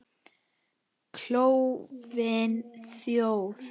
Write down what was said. Klofin þjóð.